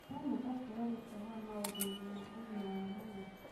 ũrona ta tũrorete ha maũndũ-inĩ ma ũgima wa mwĩrĩ?